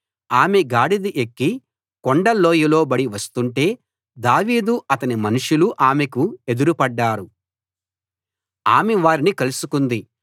ఆమె గాడిద ఎక్కి కొండ లోయలోబడి వస్తుంటే దావీదు అతని మనుషులు ఆమెకు ఎదురుపడ్డారు ఆమె వారిని కలుసుకుంది